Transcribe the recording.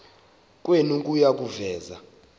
kwenu kuya kuveza